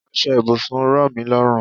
Aṣọ ibùsùn rọmi lọrun